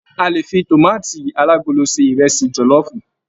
A lè fì tomaati alagolo se ìrẹsì jọlọfu.